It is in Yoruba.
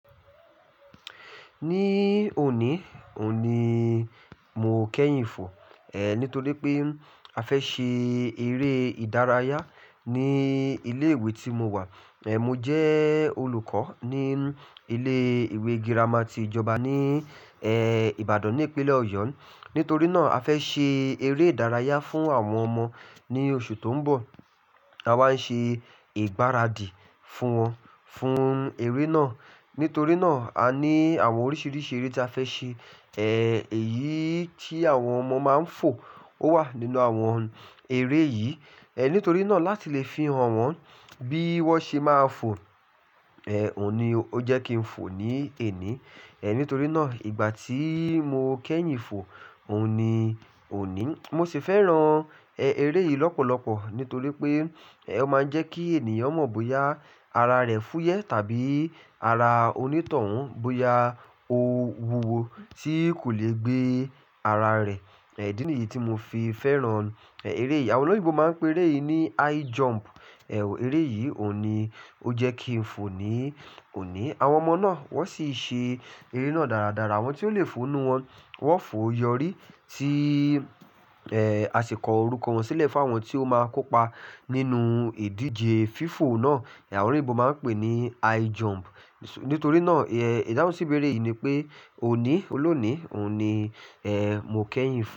Ní òní, òun ni mo kẹ́yìn fò. Ehn, nítorí pé a fẹ́ ṣe eré ìdárayá ní ilé ìwé tí mo wà. Ehn, mo jẹ́ olùkọ́ ní ilé ìwé girama ti ìjọba ní, ehn, Ìbàdàn ní ìpínlẹ̀ Ọ̀yọ́. Nítorí náà a fẹ́ ṣe eré ìdárayá fún àwọn ọmọ ní oṣù tó ń bọ̀. A wáa ń ṣe ìgbáradì fún wọn fún eré náà. Nítorí náà a ní àwọn oríṣiríṣi eré ta fẹ́ ṣe. Ehn, èyí tí àwọn ọmọ máa ń fò ó wà nínú àwọn eré yìí. Ehn, nítorí náà láti lè fihàn wọn bí wọ́n ṣe máa ń fò, ehn, òní ó jẹ́ kí n fò ní èní. Ehn, nítorí náà ìgbà tí mo kẹ́yìn fò, òní, òní. Mo sì fẹ́ràn, ehn, eré yìí lọ́pọ̀lọpọ̀ nítorí pé, ehn, ó máa ń jẹ́ kí ènìyàn mọ̀ bóyá ara rẹ̀ fúyẹ́ tàbí ara onítọ̀hún bóyá ó wuwo tí kò lè gbé ara rẹ̀. Ẹ, idíìní yìí tí mo fi fẹ́ràn, ehn, eré yìí. Àwọn olóyinbo máa ń pè eré yìí ní high jump. Ehn, eré yìí òní ó jẹ́ kí n fò ní òní. Àwọn ọmọ náà wọ́n sì ṣe eré náà dáradára. Àwọn tí ó le fò nù wọn, wọ́n fò yọrí tí, ehn, a sì kọ orúkọ wọn sílẹ̀ fún àwọn tí ó máa kópa nínú ìdíje fífò náà. Àwọn olóyinbo máa ń pè é ní high jump. Nítorí náà, ehn, ìdáhùn sí ìbéèrè yìí ni pé òní, olónìí, òun ni, ehn, mo kẹ́yìn fò.